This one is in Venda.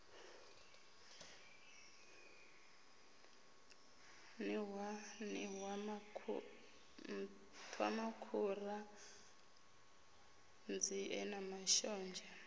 nṱhwa nṱhwamakhura nzie na mashonzha